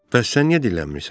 Bəs sən niyə dillənmirsən?